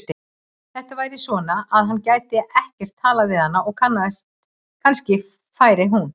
Þetta væri svona, að hann gæti ekkert talað við hana og kannski færi hún.